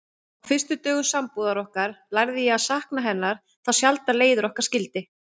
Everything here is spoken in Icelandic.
Á fyrstu dögum sambúðar okkar lærði ég að sakna hennar þá sjaldan leiðir okkar skildi.